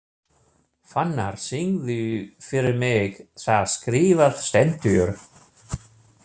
Fannar, syngdu fyrir mig „Það skrifað stendur“.